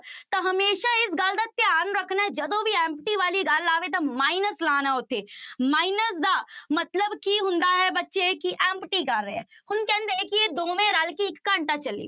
ਤਾਂ ਹਮੇਸ਼ਾ ਇਸ ਗੱਲ ਦਾ ਧਿਆਨ ਰੱਖਣਾ ਹੈ ਜਦੋਂ ਵੀ empty ਵਾਲੀ ਗੱਲ ਆਵੇ ਤਾਂ minus ਲਾਉਣਾ ਹੈ ਉੱਥੇ minus ਦਾ ਮਤਲਬ ਕੀ ਹੁੰਦਾ ਹੈ ਬੱਚੇ ਕਿ empty ਕਰ ਰਿਹਾ ਹੈ, ਹੁਣ ਕਹਿੰਦੇ ਕਿ ਇਹ ਦੋਵੇਂ ਰਲ ਕੇ ਇੱਕ ਘੰਟਾ ਚੱਲੀ।